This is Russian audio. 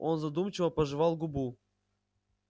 он задумчиво пожевал губу